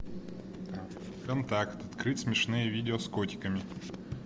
контакт открыть смешные видео с котиками